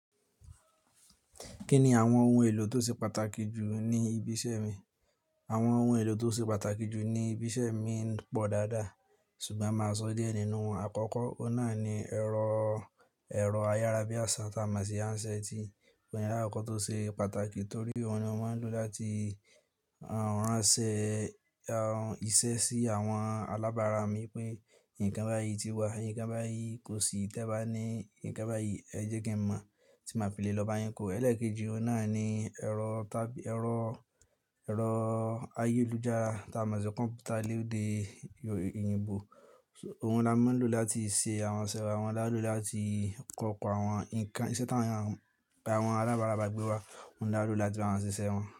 Kí ni àwọn ohun èlò tó ṣe pàtàkì jù ní ibi iṣẹ́ mi? Àwọn ohun èlò tó ṣe pàtàkì jù ní ibi iṣẹ́ mi ń pọ̀ dáadáa ṣùgbọ́n máa sọ díẹ̀ nínú wọn. Àkọ́kọ́, ó náà ni ẹ̀rọ, ẹ̀rọ ayárabíàṣá tí a mọ̀ sí hand set òun ní àkọ́kọ́ tó ṣe pàtàkì torí òun ni wọ́n ń lò láti ránṣẹ́ iṣẹ́ sí àwọn alábárà mi pé nǹkan báyìí ti wà, nǹkan báyìí kò sí tẹ́ ba ní, nǹkan báyìí ẹ jẹ́ kí n mọ̀ tí máa fi lè lọ bá yín kó. Ẹ̀lẹ́ẹ̀kejì, ó náà ni ẹ̀rọ tàbí ẹ̀rọ, ẹ̀rọ ayélujára tí a mọ̀ sí kọ̀m̀pútà lédè òyìnbó. Ohun ni a máa ń lò láti ṣe àwọn iṣẹ́ wa, àwọn ti a lò láti kọ́ oko àwọn nǹkan iṣẹ́ tí àwọn alábárà bá gbé wá, òun ni a lò láti bá wọn ṣe iṣẹ́ wọn.